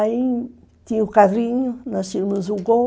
Aí tinha o carrinho, nós tínhamos um gol.